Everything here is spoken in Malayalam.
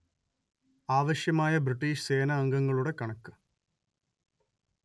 ആവശ്യമായ ബ്രിട്ടീഷ് സേനാംഗങ്ങളുടെ കണക്ക്